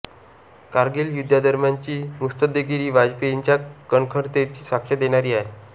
कारगील युद्धादरम्यानची मुत्सद्देगिरी वाजपेयींच्या कणखरतेची साक्ष देणारी आहे